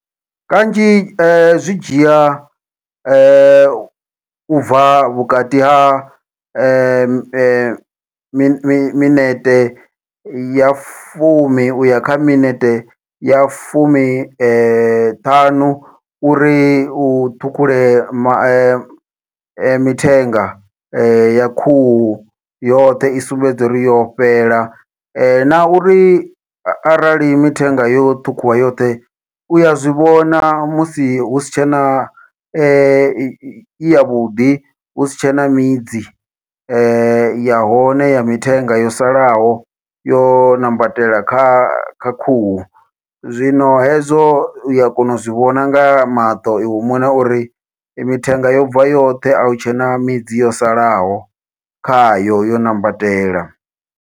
Kanzhi zwidzhia ubva vhukati ha mi minete ya fumi uya kha minete ya fumi ṱhanu uri u ṱhukhule ma mithenga ya khuhu yoṱhe i sumbedze uri yo fhela, na uri arali mithenga yo ṱhukhuwa yoṱhe uya zwivhona musi husi tshena i yavhuḓi husi tshena midzi ya hone ya mithenga yo salaho yo ṋambatela kha kha khuhu. Zwino hezwo uya kona u zwivhona nga maṱo iwe muṋe uri mithenga yobva yoṱhe ahu tshena midzi yo salaho khayo yo ṋambatela.